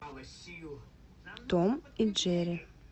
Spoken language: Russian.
том и джерри